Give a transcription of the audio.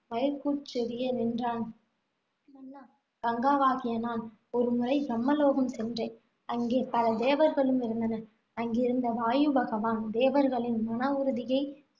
மயிர்க்கூச்செறிய நின்றான் மன்னா கங்காவாகிய நான் ஒருமுறை பிரம்மலோகம் சென்றேன். அங்கே பல தேவர்களும் இருந்தனர். அங்கிருந்த வாயுபகவான் தேவர்களின் மனவுறுதியைச்